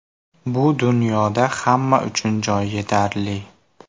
Bu dunyoda hamma uchun joy yetarli.